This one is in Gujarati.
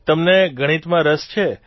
તમને ગણિતમાં રસ છે